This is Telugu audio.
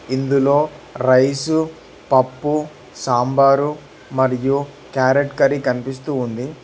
ఇందులో రైసు పప్పు సాంబారు మరియు క్యారెట్ కర్రీ కనిపిస్తూ ఉంది.